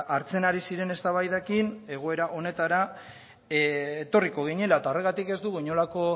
hartzen ari ziren eztabaidekin egoera honetara etorriko ginela eta horregatik ez dugu inolako